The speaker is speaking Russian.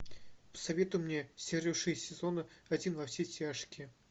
посоветуй мне серию шесть сезона один во все тяжкие